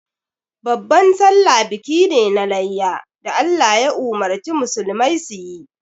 Babban sallah biki ne na layya da Allah ya umurci musulmai su yi.